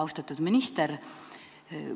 Austatud minister!